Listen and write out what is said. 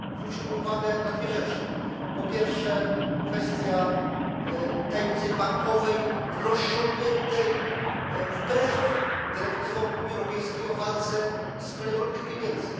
Zwrócił mi uwagę na dwie rzeczy po pierwsze kwestia tajemnicy bankowej rozciągniętej wbrew dyrektywom Unii Europejskiej o walce z praniem brudnych pieniędzy.